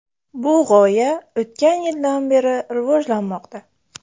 Bu g‘oya o‘tgan yildan beri rivojlanmoqda.